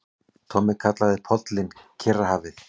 Tommi kallaði pollinn Kyrrahafið.